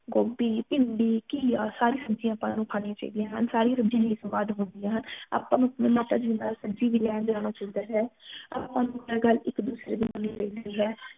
ਗੋਭੀ ਭਿੰਡੀ ਘਿਆ ਸਾਰੀ ਸਬਜ਼ੀਆਂ ਆਪਾ ਨੂੰ ਖਾਣੀ ਚਾਹੀਦੀ ਹਨ ਸਾਰੀ ਸਬਜ਼ੀਆਂ ਹੀ ਸਵਾਦ ਹੁੰਦੀਆਂ ਹਨ ਆਪਾ ਨੂੰ ਅਪਣੀ ਮਾਤਾ ਜੀ ਦੇ ਨਾਲ ਸਬਜ਼ੀ ਵੀ ਲੈਣ ਜਾਣਾ ਚਾਹੀਦਾ ਹੈ